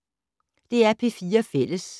DR P4 Fælles